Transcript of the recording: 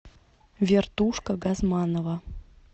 вертушка газманова